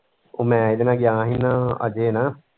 ਉਹ ਮੈਂ ਉਹਦੇ ਨਾਲ ਗਿਆ ਹੀ ਨਾ ਅਜੇ ਨਾਲ।